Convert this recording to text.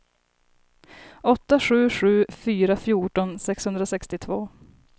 åtta sju sju fyra fjorton sexhundrasextiotvå